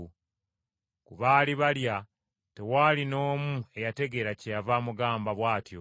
Ku baali balya tewaali n’omu eyategeera kyeyava amugamba bw’atyo.